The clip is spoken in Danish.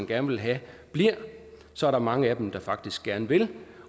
gerne vil have bliver så er der mange af dem der faktisk gerne vil